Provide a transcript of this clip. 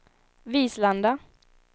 Vislanda